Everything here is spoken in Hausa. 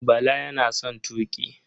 Bala yana son tuƙi.